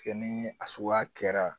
Kɛ ni a suguya kɛra